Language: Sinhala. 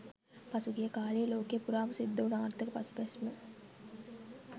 පහුගිය කාලේ ලෝකේ පුරාම සිද්ධ උන ආර්ථික පසුබැස්ම